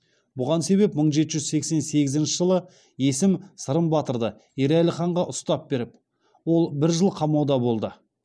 бұған себеп мың жеті жүз сексен сегізінші жылы есім сырым батырды ерәлі ханға ұстап беріп ол бір жыл қамауда болады